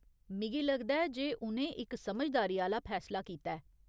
मिगी लगदा ऐ जे उ'नें इक समझदारी आह्‌ला फैसला कीता ऐ।